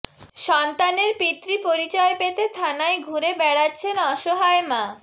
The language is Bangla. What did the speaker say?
সন্তানের পিতৃ পরিচয় পেতে থানায় ঘুরে বেড়াচ্ছেন অসহায় মা